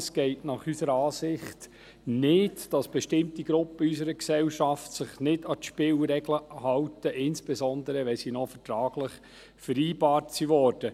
Es geht unserer Ansicht nach nicht, dass bestimmte Gruppen in unserer Gesellschaft sich nicht an die Spielregeln halten, insbesondere, wenn sie noch vertraglich vereinbart wurden.